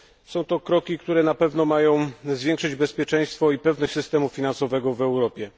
Są to kroki, które na pewno mają zwiększać bezpieczeństwo i pewność systemu finansowego w Europie.